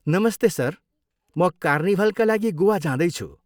नमस्ते सर, म कार्निभलका लागि गोवा जाँदैछु।